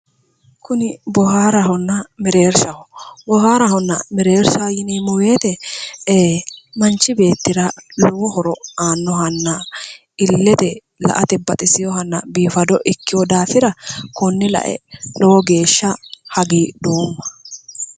Kuni bohaarahonna mereershaho ,bohaarahonna mereershaho yineemmo woyte e'e manchi beettira lowo horo aanohanna ilete la"ate baxiseyohanna ilete biinfo ikkino daafira kone lae lowo geeshsha hagiidhoomma".